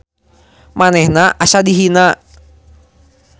Manehna asa dihina.